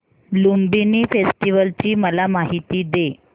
Lumbini festival ची मला माहिती दे